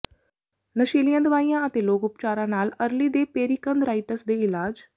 ਨਸ਼ੀਲੀਆਂ ਦਵਾਈਆਂ ਅਤੇ ਲੋਕ ਉਪਚਾਰਾਂ ਨਾਲ ਅਰਲੀ ਦੇ ਪੇਰੀਕੰਧਰਾਇਟਸ ਦੇ ਇਲਾਜ